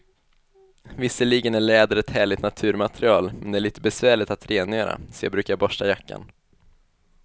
Visserligen är läder ett härligt naturmaterial, men det är lite besvärligt att rengöra, så jag brukar borsta jackan.